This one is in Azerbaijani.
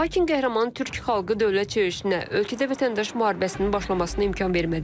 Lakin qəhrəman Türk xalqı dövlət çevrilişinə ölkədə vətəndaş müharibəsinin başlamasına imkan vermədi.